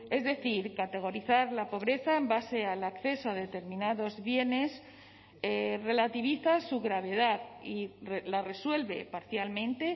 es decir categorizar la pobreza en base al acceso a determinados bienes relativiza su gravedad y la resuelve parcialmente